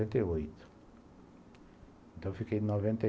Noventa e oito, então, eu fiquei de novent